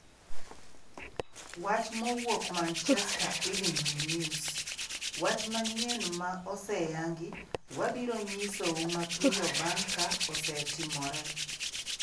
(Wach mowuok Manchester Evening News) Wach manyien ma oseyangi wabiro nyisou mapiyo bang’ ka osetimore.